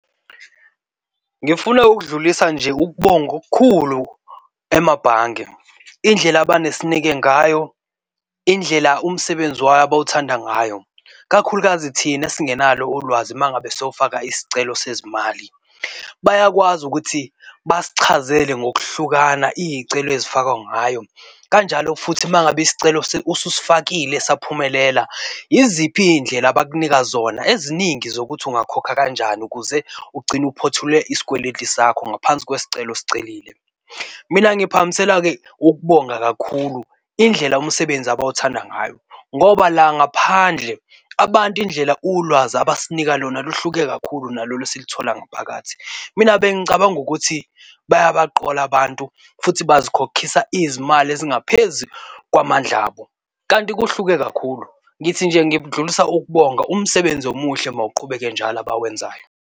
Ngifuna ukudlulisa nje ukubonga okukhulu emabhange. Indlela abenesineke ngayo, indlela umsebenzi wabo bawuthanda ngayo, kakhulukazi thina esingenalo ulwazi uma ngabe siyofaka isicelo sezimali, bayakwazi ukuthi basichazele ngokuhlukana izicelo ezifakwa ngayo kanjalo futhi uma ngabe isicelo ususufakile, saphumelela, yiziphi izindlela abakunika zona eziningi zokuthi ungakhokha kanjani ukuze ugcine uphothule isikweletu sakho ngaphansi kwesicelo osicelile. Mina ngiphakamisela-ke ukubonga kakhulu indlela umsebenzi abawuthanda ngayo, ngoba la ngaphandle abantu indlela ulwazi abasinika lona luhluke kakhulu nalolu thola ngaphakathi. Mina bengicabanga ukuthi bayabaqola abantu futhi basikhokhisa izimali ezingaphezu kwamandla abo kanti kuhluke kakhulu. Ngithi nje ngidlulisa ukubonga umsebenzi omuhle mawuqhubeke njalo abawenzayo.